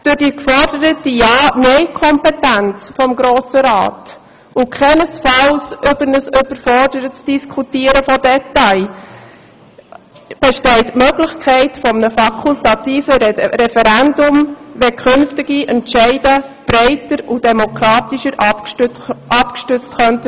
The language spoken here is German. Durch die geforderte Ja-Nein-Kompetenz des Grossen Rats und keinesfalls über ein überfordertes Diskutieren von Details besteht die Möglichkeit eines fakultativen Referendums, wenn künftige Entscheide breiter und demokratischer abgestützt sein sollten.